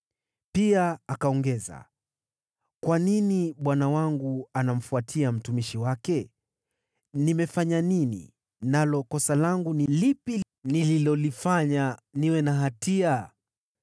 Pia akaongeza, “Kwa nini bwana wangu anamfuatia mtumishi wake? Nimefanya nini, nalo kosa langu ni lipi nililolifanya niwe na hatia?